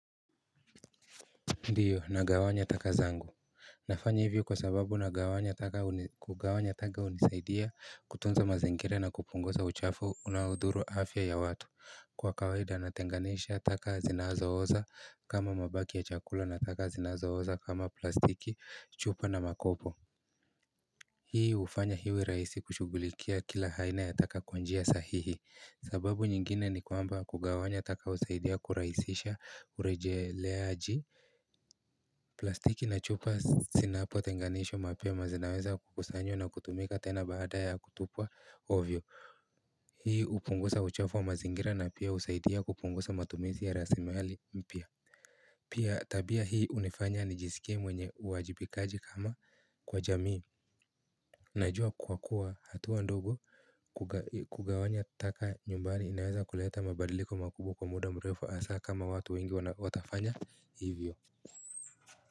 Ndiyo na gawanya taka zangu, nafanya hivyo kwa sababu na gawanya taka unisaidia kutunza mazingira na kupunguza uchafu unaudhuru afya ya watu Kwa kawaida natenganisha taka zinazo oza kama mabaki ya chakula na taka zinazo oza kama plastiki, chupa na makopo Hii ufanya iwe raisi kushugulikia kila haina ya taka kwanjia sahihi sababu nyingine ni kwamba kugawanya taka usaidia kuraisisha urejeleaji plastiki na chupa sinapo tenganishwa mapema zinaweza kukusanywa na kutumika tena baada ya kutupwa ovyo Hii upungusa uchafu wa mazingira na pia usaidia kupungusa matumisi ya rasimali pia Pia tabia hii unifanya ni jisike mwenye uajibikaji kama kwa jamii Najua kuwa kuwa hatuwa ndogo kugawanya taka nyumbani inaweza kuleta mabadiliko makubwa kwa muda mrefu asa kama watu wengi watafanya hivyo.